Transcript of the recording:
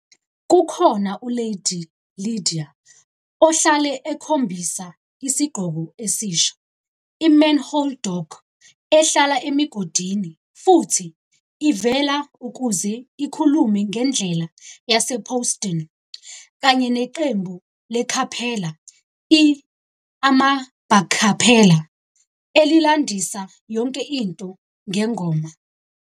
Kukhona u-Lady Lydia ohlale ekhombisa isigqoko esisha, i-Manhole Dog ehlala emigodini futhi ivela ukuze ikhulume ngendlela yasePawston, kanye neqembu le-capella i-AmaBarkapella elilandisa yonke into ngengoma.